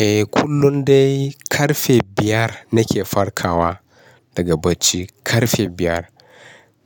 Eh kullum dai ƙarfe biyar nake farkawa daga bacci, ƙarfe biyar.